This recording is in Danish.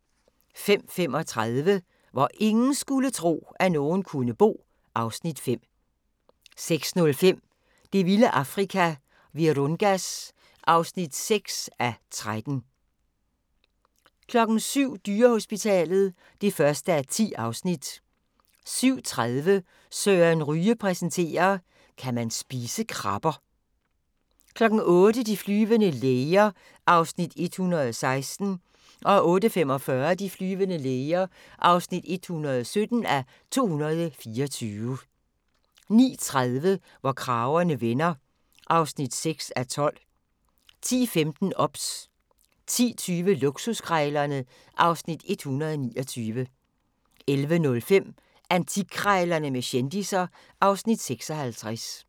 05:35: Hvor ingen skulle tro, at nogen kunne bo (Afs. 5) 06:05: Det vilde Afrika - Virungas (6:13) 07:00: Dyrehospitalet (1:10) 07:30: Søren Ryge præsenterer: Kan man spise krabber? 08:00: De flyvende læger (116:224) 08:45: De flyvende læger (117:224) 09:30: Hvor kragerne vender (6:12) 10:15: OBS 10:20: Luksuskrejlerne (Afs. 129) 11:05: Antikkrejlerne med kendisser (Afs. 56)